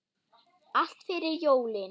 Allt fyrir jólin.